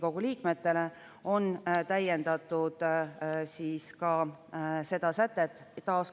Kümnes muudatusettepanek on perehüvitiste seaduse muutmise kohta: "abikaasa" kõrvale lisatakse "registreeritud elukaaslane".